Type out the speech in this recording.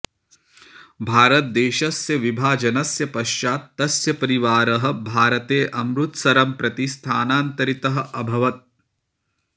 भारतदेशस्य विभाजनस्य पश्चात् तस्य परिवारः भारते अमृतसरं प्रति स्थानान्तरितः अभवत्